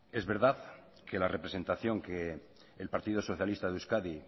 es verdad que la representación que el partido socialista de euskadi